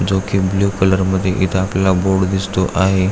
जो की blue colour मध्ये आपल्याला बोर्ड दिसतो आहे.